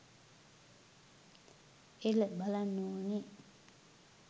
එළ බලන්න ඕනේ